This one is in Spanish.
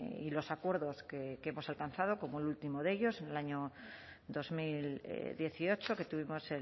y los acuerdos que hemos alcanzado como el último de ellos en el año dos mil dieciocho que tuvimos